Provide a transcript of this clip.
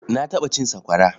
Na taɓa cin sakwara.